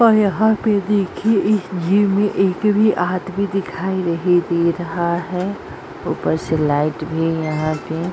और यहाँ पे देखिये इस जिम में एक भी आदमी दिखाई नहीं दे रहा है ऊपर से लाइट भी यहाँ पे --